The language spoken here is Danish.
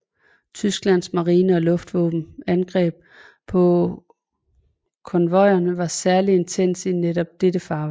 Tysklands marine og luftvåbens angreb på konvojerne var særligt intense i netop dette farvand